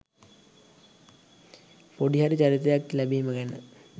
පොඩි හරි චරිතයක් ලැබිම ගැන